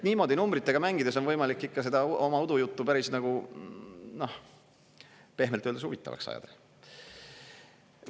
Niimoodi numbritega mängides on võimalik ikka seda oma udujuttu päris nagu, pehmelt öeldes, huvitavaks ajada.